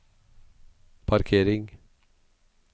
parkering